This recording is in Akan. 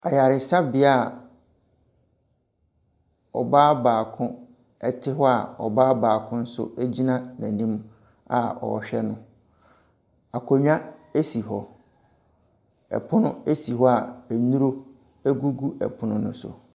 Ayaresabae a ɔbaa baako te hɔ a,ɔbaako nso gyina n'anim a ɔrehwɛ no, akonnwa si hɔ, ɛpono si hɔ a nnuro gugu no so.